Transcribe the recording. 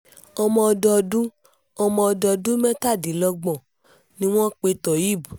ọmọdọ́dún ọmọdọ́dún mẹ́tàdínlọ́gbọ̀n ni wọ́n pe tohéb